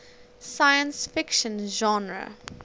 science fiction genre